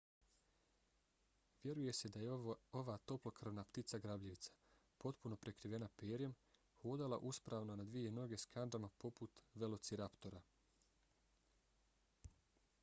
vjeruje se da je ova toplokrvna ptica grabljivica potpuno prekrivena perjem hodala uspravno na dvije noge s kandžama poput velociraptora